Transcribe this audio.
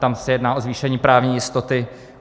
Tam se jedná o zvýšení právní jistoty.